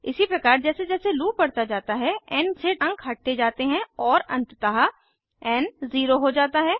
इसी प्रकार जैसे जैसे लूप बढ़ता जाता है एन से अंक हटते जाते हैं और अंततः एन ज़ीरो हो जाता है